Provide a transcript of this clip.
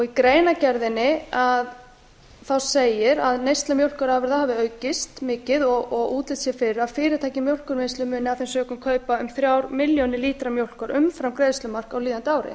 í greinargerðinni segir að neysla mjólkurafurða hafi aukist mikið og útlit sé fyrir að fyrirtæki í mjólkurvinnslu muni af þeim sökum kaupa um þrjár milljónir lítra mjólkur umfram greiðslumark á líðandi ári